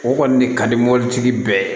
O kɔni de ka di mobilitigi bɛɛ ye